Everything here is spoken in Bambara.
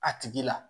A tigi la